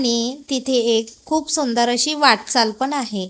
आणि तिथे एक खूप सुंदर अशी वाटचाल पण आहे.